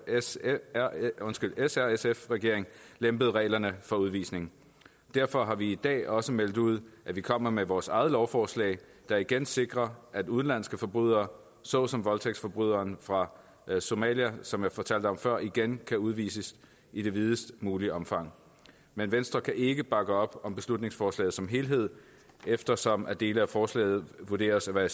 s r sf regering lempede reglerne for udvisning derfor har vi i dag også meldt ud at vi kommer med vores eget lovforslag der igen sikrer at udenlandske forbrydere såsom voldtægtsforbryderen fra somalia som jeg fortalte om før igen kan udvises i det videst mulige omfang men venstre kan ikke bakke op om beslutningsforslaget som helhed eftersom dele af forslaget vurderes at være